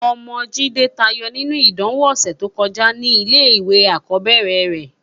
Òmò Jide tàáyò ninú idánwó òsètókójá ni ilé iwé ákòbèrè rè